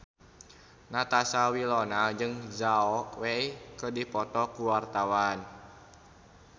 Natasha Wilona jeung Zhao Wei keur dipoto ku wartawan